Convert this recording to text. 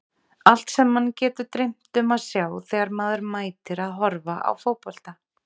Allt sem mann getur dreymt um að sjá þegar maður mætir að horfa á fótbolta.